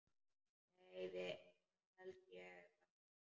Nei það held ég varla.